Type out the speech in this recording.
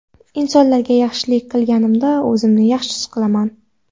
Insonlarga yaxshilik qilganimda, o‘zimni yaxshi his qilaman.